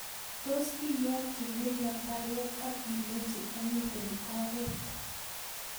tos iyoki Miriam baruet ak ilechi amiten oret